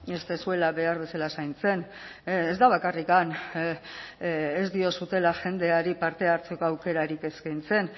ez duzuela behar bezala zaintzen ez da bakarrik ez diozuela jendeari parte hartzeko aukerarik eskaintzen